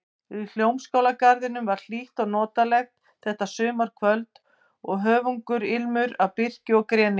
Í Hljómskálagarðinum var hlýtt og notalegt þetta sumarkvöld og höfugur ilmur af birki og greni.